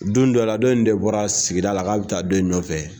Don dɔ la dɔ in de bɔra sigida la k'a bɛ taa dɔ in nɔfɛ